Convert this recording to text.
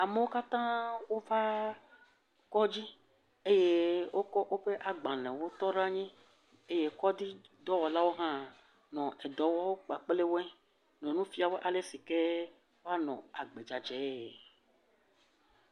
Amewo katã wova kɔdzi eye wokɔ woƒe agbalẽ wokɔ woƒe agbalẽwo tɔ ɖe anyi eye kɔdzidɔwɔlawo hã nɔ edɔ wɔ kpakple wɔe nɔ nu fia wo ale sike woanɔ agbedzadzɛ.